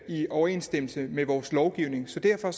i overenstemmelse med vores lovgivning så derfor